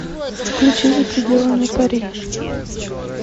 включи за пределами пари